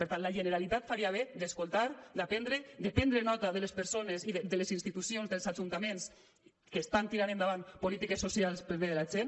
per tant la generalitat faria bé d’escoltar d’aprendre de prendre nota de les persones i de les institucions dels ajuntaments que estan tirant endavant polítiques socials per al bé de la gent